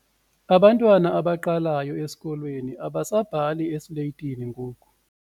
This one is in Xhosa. Abantwana abaqalayo esikolweni abasabhali esiletini ngoku.